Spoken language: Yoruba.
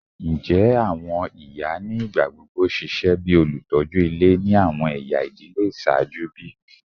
Njẹ awọn iya ni igbagbogbo ṣiṣẹ bi olutọju ile ni awọn ẹya idile iṣaaju bi?